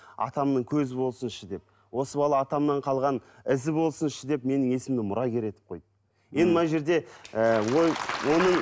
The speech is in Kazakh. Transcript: атамның көзі болсыншы деп осы бала атамнан қалған ізі болсыншы деп менің есімімді мұрагер етіп қойды енді мына жерде ііі оның